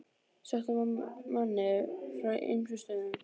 Sótt að manni frá ýmsum stöðum.